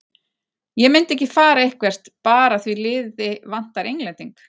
Ég myndi ekki fara eitthvert bara því liði vantar Englending.